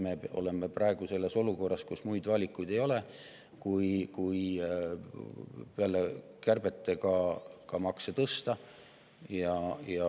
Me oleme praegu lihtsalt sellises olukorras, kus muid valikuid ei ole kui tõsta peale kärbete ka makse.